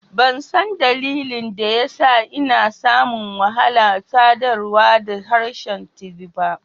Ban san dalilin daya sa n'na samu wahala sadarwa da harshen Tiv ba.